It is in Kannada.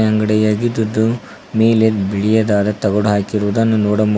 ಅಂಗಡಿಯಾಗಿದ್ದಿದ್ದು ನೀಲಿ ಬಿಳಿಯದಾದ ತಗಡು ಹಾಕಿರುವುದನ್ನು ನೋಡಬಹು--